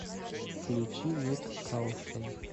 включи ник каушн